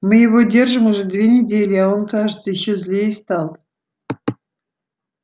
мы его держим уже две недели а он кажется ещё злее стал